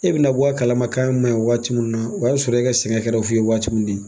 E bina bɔ kalamakan k'a maɲi waati min na, o y'a sɔrɔ, e ka sɛnɛ kɛra fu ye waati min di